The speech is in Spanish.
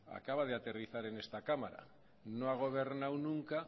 acaba de aterrizar en esta cámara no ha gobernado nunca